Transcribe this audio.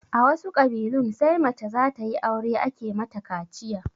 A wasu ƙabilun sai mace zatayi aure ake mata kaciya